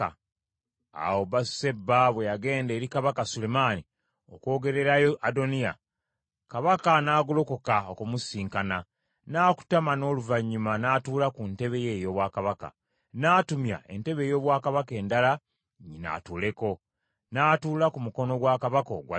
Awo Basuseba bwe yagenda eri Kabaka Sulemaani, okwogererayo Adoniya, Kabaka n’agolokoka okumusisinkana, n’akutama n’oluvannyuma n’atuula ku ntebe ye ey’obwakabaka. N’atumya entebe ey’obwakabaka endala nnyina atuuleko , n’atuula ku mukono gwa kabaka ogwa ddyo.